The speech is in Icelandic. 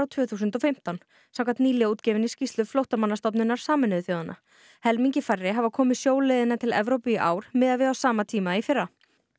tvö þúsund og fimmtán samkvæmt nýlega útgefinni skýrslu Flóttamannastofnunar Sameinuðu þjóðanna helmingi færri hafa komið sjóleiðina til Evrópu í ár miðað við á sama tíma í fyrra